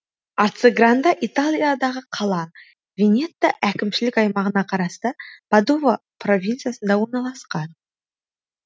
арцегранде италиядағы қала венето әкімшілік аймағына қарасты падова провинциясында орналасқан